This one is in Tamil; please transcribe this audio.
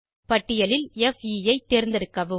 பட்டியலில் பே ஐ தேர்ந்தெடுக்கவும்